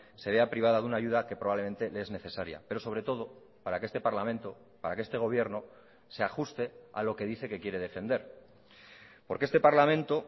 se vea privada de una ayuda que probablemente le es necesaria pero sobre todo para que este parlamento para que este gobierno se ajuste a lo que dice que quiere defender porque este parlamento